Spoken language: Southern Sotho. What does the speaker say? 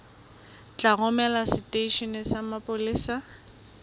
tla romelwa seteisheneng sa mapolesa